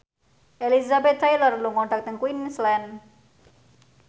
Elizabeth Taylor lunga dhateng Queensland